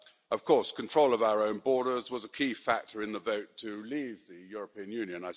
Of course, control of our own borders was a key factor in the vote to leave the European Union.